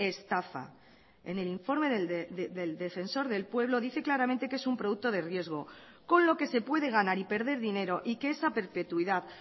estafa en el informe del defensor del pueblo dice claramente que es un producto de riesgo con lo que se puede ganar y perder dinero y que es a perpetuidad